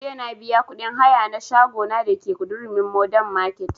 Jiya na biya kuɗin haya na shago na da ke durumi modern market